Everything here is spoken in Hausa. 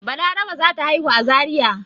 Balaraba za ta haihu a Zariya.